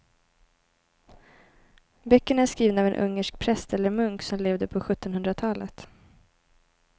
Böckerna är skrivna av en ungersk präst eller munk som levde på sjuttonhundratalet.